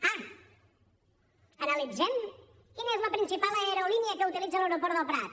ah analitzem quina és la principal aerolínia que utilitza l’aeroport del prat